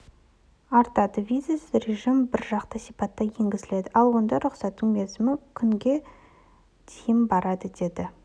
артады визасыз режім бір жақты сипатта енгізіледі ал ондай рұқсаттың мерзімі күнге дейін барады деді